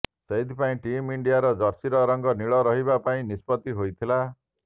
ସେଥିପାଇଁ ଟିମ୍ ଇଣ୍ଡିଆର ଜର୍ସିର ରଙ୍ଗ ନୀଳ କରିିବା ପାଇଁ ନିଷ୍ପତ୍ତି ହୋଇଥିଲା